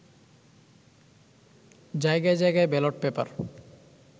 জায়গায় জায়গায় ballot paper